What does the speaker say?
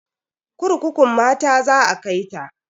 Kurkukun mata za a kai ta.